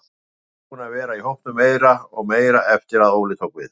Ég er búinn að vera í hópnum meira og meira eftir að Óli tók við.